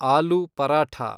ಆಲೂ paratha